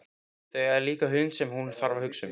Þau eiga líka hund sem hún þarf að hugsa um.